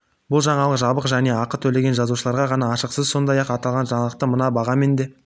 бұл жаңалық жабық және ақы төлеген жазылушыларға ғана ашық сіз сондай-ақ аталған жаңалықты мына бағамен де